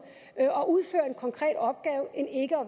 og udføre en konkret opgave end ikke at